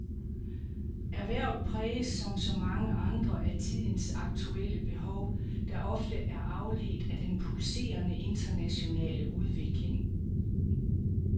Erhvervet præges som så mange andre af tidens aktuelle behov, der ofte er afledt af den pulserende, internationale udvikling.